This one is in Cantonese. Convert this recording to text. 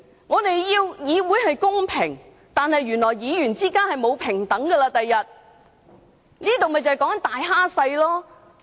我們要求議會公平，但原來議員之間，將來是不平等的，以大欺小。